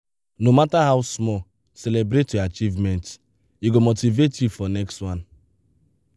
no matter how small celebrate your achievements; e go motivate you for next one.